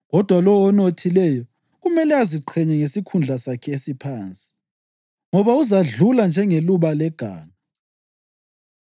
Kodwa lowo onothileyo kumele aziqhenye ngesikhundla sakhe esiphansi, ngoba uzadlula njengeluba leganga.